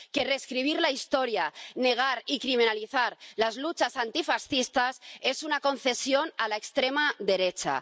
Que reescribir la historia, negar y criminalizar las luchas antifascistas es una concesión a la extrema derecha.